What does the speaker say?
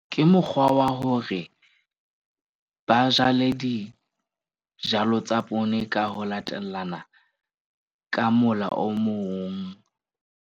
Ke mokgwa wa hore ba jale dijalo tsa poone ka ho latellana ka mola o mong.